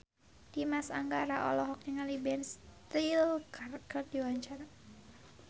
Dimas Anggara olohok ningali Ben Stiller keur diwawancara